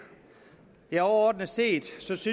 overordnet set synes